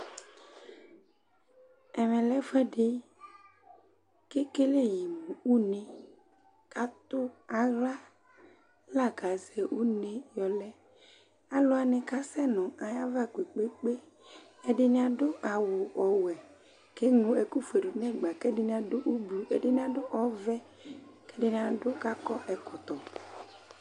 Ɛmɛ lɛ ɛfʋɛdɩ ,kekele yɩ mʋ une Katʋ aɣla la kazɛ une ;alʋ wanɩ kasɛ nʋ ayava kpekpekpeƐdɩnɩ adʋ awʋ ɔwɛ, keŋlo ɛkʋ fue dʋ nɛgba ,kɛdɩnɩ adʋ ublu, ɛdɩnɩ adʋ ɔvɛ kɛdɩnɩ adʋ ,kakɔ ɛkɔtɔ